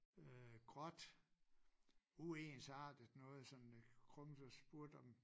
Øh gråt uensartet noget sådan med grums og spurgte om